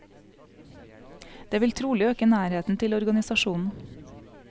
Det vil trolig øke nærheten til organisasjonen.